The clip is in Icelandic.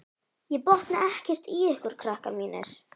Ég botna ekkert í ykkur, krakkar mínir.